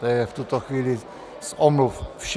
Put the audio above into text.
To je v tuto chvíli z omluv vše.